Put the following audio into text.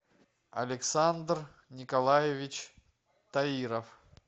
александр николаевич таиров